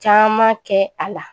Caman kɛ a la